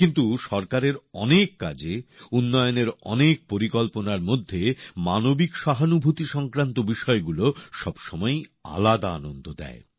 কিন্তু সরকারের অনেক কাজে উন্নয়নের অনেক পরিকল্পনার মধ্যে মানবিক সহানুভূতি সংক্রান্ত বিষয়গুলো সবসময়ই আলাদা আনন্দ দেয়